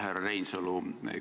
Härra Reinsalu!